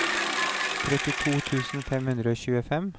trettito tusen fem hundre og tjuefem